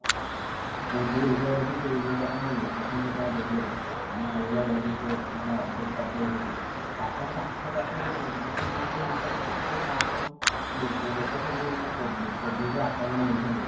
ଯଉ area ରେ ରହୁଛନ୍ତି ସେଇ area ରେ ଆପଣ location ଯେତେବେଳେ ଦେଇ ଦେବେ ଆପଣ କୋଉ area ରେ ରହୁଛନ୍ତି ମାନେ update କରିଦେବେ ସେଥିରେ ତ ଆପଣଙ୍କ ଆଖ ପାଖରେ ଗୋଟେ kilo meter ଭିତରେ କେତେ କଣ ଲୋକ ସବୁ ମାନେ covid ରେ ଆକ୍ରମଣ ହେଇଛନ୍ତି